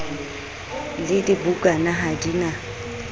le dibukana ha di na